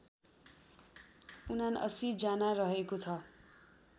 ७९ जना रहेको छ